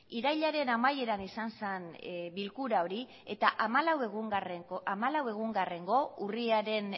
irailaren amaiera izan zen bilkura hori eta hamalau egungarrengo urriaren